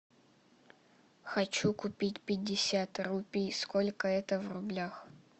хочу купить пятьдесят рупий сколько это в рублях